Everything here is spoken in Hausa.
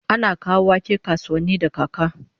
Ana kawo wake kasuwanni da kaka